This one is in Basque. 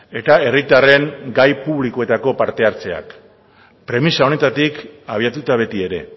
eta herritarren gai publikoetako parte hartzeak premisa honetatik abiatuta beti ere